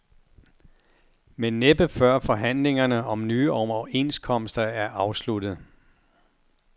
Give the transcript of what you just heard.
Men næppe før forhandlingerne om nye overenskomster er afsluttet.